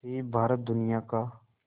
से भारत दुनिया का